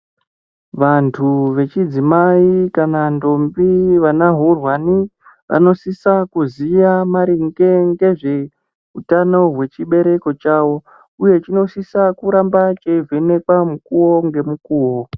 Vantu vechidzimai kana ndombi vanahurwani vanosisa kuziya maringe ngezveutano hwechibereko chavo uye chinosisa kuramba cheivhenekwa mukuwo ngemukuwo.